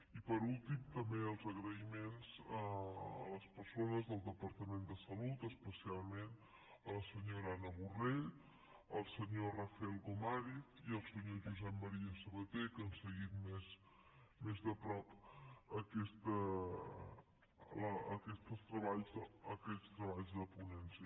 i per últim també els agraïments a les persones del departament de salut especialment la senyora anna borrell el senyor rafael gomàriz i el senyor josep maria sabaté que han seguit més de prop aquests treballs de ponència